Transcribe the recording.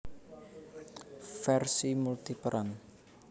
Versi multiperan